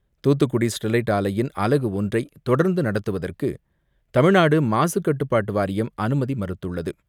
Thoothukudi Sterlite ஆலையின் அலகு ஒன்றை தொடர்ந்து நடத்துவதற்கு தமிழ்நாடு மாசுக்கட்டுப்பாட்டு வாரியம் அனுமதி மறுத்துள்ளது.